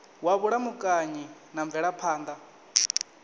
wa vhulamukanyi na mvelaphan ḓa